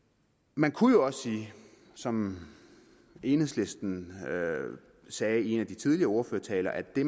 man kunne jo også sige som enhedslisten sagde i en af de tidligere ordførertaler at det